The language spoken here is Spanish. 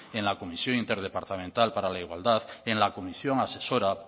en la comisión interdepartamental para la igualdad en la comisión asesora